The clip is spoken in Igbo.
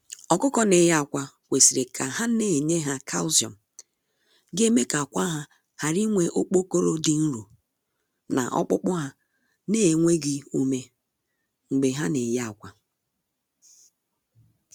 Ọkụkọ na eye akwa kwesịrị ka ha na enye ya Kalsiọm, ga eme ka akwa ha ghara inwe okpokoro dị nro, na okpukpu ha na enweghị ume, mgbe ha na eye akwa.